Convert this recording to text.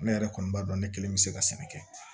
Ne yɛrɛ kɔni b'a dɔn ne kelen bɛ se ka sɛnɛ kɛ